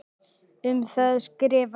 Um það skrifar hann